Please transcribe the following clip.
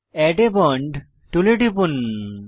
add a bond টুলে টিপুন